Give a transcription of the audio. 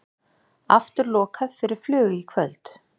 Aftur lokað fyrir flug í kvöld